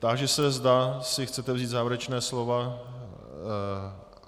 Táži se, zda si chcete vzít závěrečná slova.